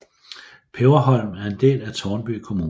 Peberholm er en del af Tårnby Kommune